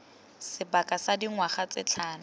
sebaka sa dingwaga tse tlhano